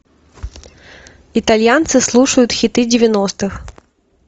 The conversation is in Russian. итальянцы слушают хиты девяностых